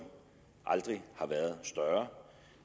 aldrig har været større